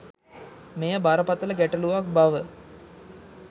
මෙය බරපතල ගැටලුවක් බව